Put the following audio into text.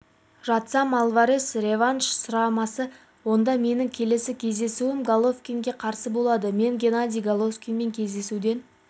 жатсам альварес реванш сұрамасы онда менің келесі кездесуім головкинге қарсы болады мен геннадий головкинмен кездесуден